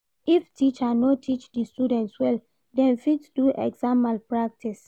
If teacher no teach di students well, dem fit do exam malpractice.